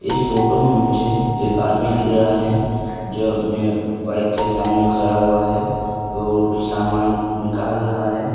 इस फोटो में मुझे एक आदमी दिख रहा है जो अपने बाइक के सामने खड़ा हुआ है और कुछ सामान निकाल रहा है।